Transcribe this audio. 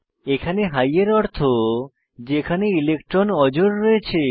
এখানে হাই এর অর্থ যেখানে ইলেকট্রন অজোড় রয়েছে